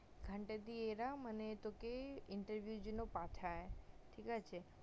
ওখানটা দিয়ে এরা মানে তোকে interview জন্য পাঠায় ঠিক আছে